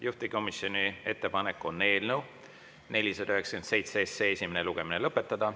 Juhtivkomisjoni ettepanek on eelnõu 497 esimene lugemine lõpetada.